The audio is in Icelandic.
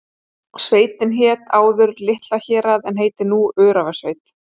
Sveitin hét áður Litla-Hérað en heitir nú Öræfasveit.